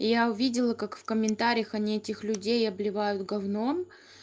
и я увидела как в комментариях они этих людей обливают говном